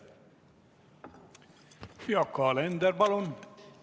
Yoko Alender, palun!